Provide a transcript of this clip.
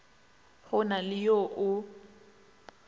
go na le yo o